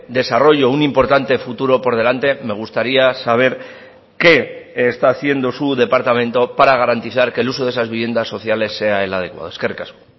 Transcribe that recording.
desarrollo un importante futuro por delante me gustaría saber qué está haciendo su departamento para garantizar que el uso de esas viviendas sociales sea el adecuado eskerrik asko